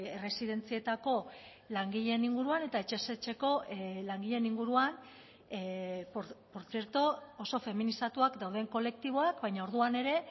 erresidentzietako langileen inguruan eta etxez etxeko langileen inguruan portzierto oso feminizatuak dauden kolektiboak baina orduan ere